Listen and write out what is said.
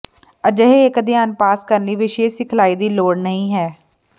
ਅਜਿਹੇ ਇਕ ਅਧਿਐਨ ਪਾਸ ਕਰਨ ਲਈ ਵਿਸ਼ੇਸ਼ ਸਿਖਲਾਈ ਦੀ ਲੋੜ ਨਹੀ ਹੈ